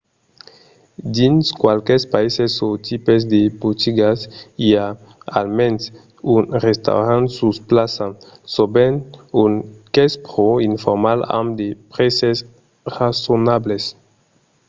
dins qualques païses o tipes de botigas i a almens un restaurant sus plaça sovent un qu'es pro informal amb de prèses rasonables